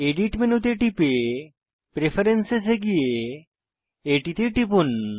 edit মেনুতে টিপে preference এ গিয়ে এটিতে টিপুন